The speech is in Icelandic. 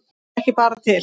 Hann er bara ekki til.